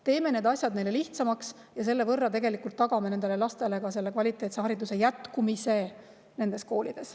Teeme need asjad neile lihtsamaks ja tagame lastele kvaliteetse hariduse jätkumise nendes koolides.